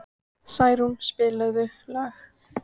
Snærún, spilaðu lag.